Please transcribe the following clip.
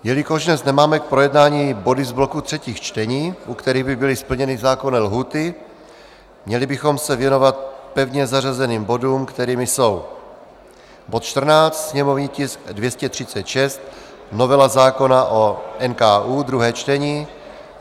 Jelikož dnes nemáme k projednání body z bloku třetích čtení, u kterých by byly splněny zákonné lhůty, měli bychom se věnovat pevně zařazeným bodům, kterými jsou bod 14, sněmovní tisk 236 - novela zákona o NKÚ, druhé čtení;